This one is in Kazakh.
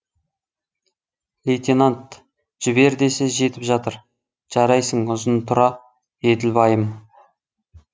лейтенант жібер десе жетіп жатыр жарайсың ұзынтұра еділбайым